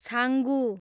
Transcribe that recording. Changu